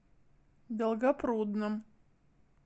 долгопрудном